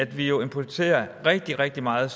vi jo importerer rigtig rigtig meget